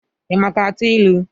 Ị maka atụ ilu?